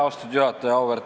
Austatud juhataja!